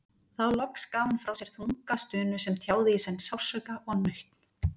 Þá loks gaf hún frá sér þunga stunu sem tjáði í senn sársauka og nautn.